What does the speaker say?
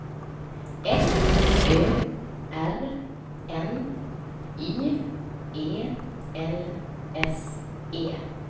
F Ö R N Y E L S E